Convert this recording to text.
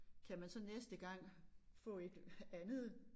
Kan man så næste gang få et andet